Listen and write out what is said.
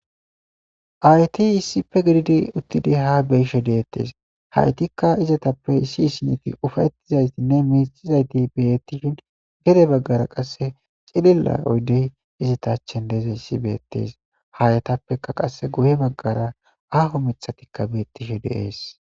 Ayti issife gididi uttidi ha beyisho deettes haytikka izatappe issi hisineti ufayettizaytinne mixizayti bettishin gere baggara qasse cililla oydey izatachen deeza issi beettees haayatappeka qasse guhe baggara aho mithatikka beettisho deees.